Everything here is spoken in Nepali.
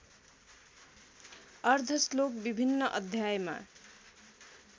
अर्द्धश्लोक विभिन्न अध्यायमा